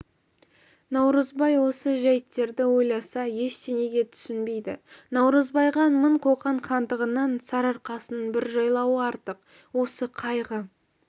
наурызбай осы жәйіттерді ойласа ештеңеге түсінбейді наурызбайға мың қоқан хандығынан сарыарқасының бір жайлауы артық осы қайғы